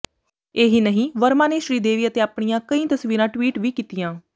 ਇਹੀ ਨਹੀਂ ਵਰਮਾ ਨੇ ਸ਼੍ਰੀਦੇਵੀ ਅਤੇ ਆਪਣੀਆਂ ਕਈ ਤਸਵੀਰਾਂ ਟਵੀਟ ਵੀ ਕੀਤੀਆਂ